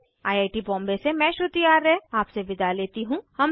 I I T Bombay से मैं श्रुति आर्य आपसे विदा लेती हूँ